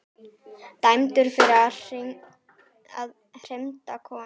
Dæmdur fyrir að hrinda konu